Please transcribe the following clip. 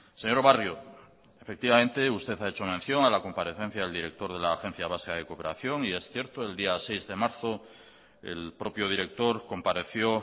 señor barrio usted ha hecho mención a la comparecencia del director de la agencia vasca de cooperación y es cierto el día seis de marzo el propio director compareció